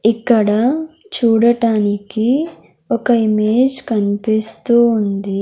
ఇక్కడ చూడటానికి ఒక ఇమేజ్ కనిపిస్తూ ఉంది.